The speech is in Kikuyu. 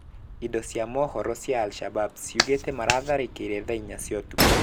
Indo cia mohoro cia Al Shabab ciugĩte maratharĩkĩire thaa inya cia ũtuku.